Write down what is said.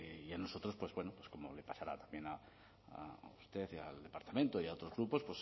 y a nosotros pues bueno como les pasará también a usted y al departamento y a otros grupos